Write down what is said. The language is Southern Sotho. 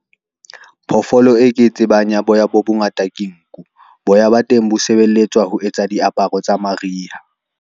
Phoofolo e ke tsebang ya boya bo bongata, ke nku boya ba teng bo sebeletswa ho etsa diaparo tsa mariha.